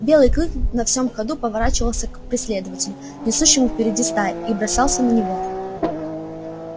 белый клык на всем ходу поворачивался к преследователю несущемуся впереди стаи и бросался на него